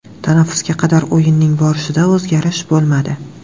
Tanaffusga qadar o‘yinning borishida o‘zgarish bo‘lmadi.